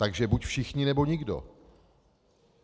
Takže buď všichni, nebo nikdo.